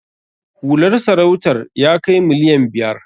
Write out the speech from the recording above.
Hular sarautar ya kai miliyan biyar.